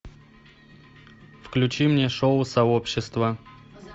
включи мне шоу сообщество